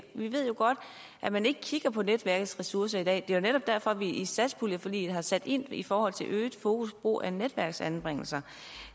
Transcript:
vi ved jo godt at man ikke kigger på netværkets ressourcer i dag det er jo netop derfor vi i satspuljeforliget har sat ind i forhold til øget fokus på brug af netværksanbringelser